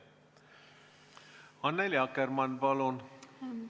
Annely Akkermann, palun!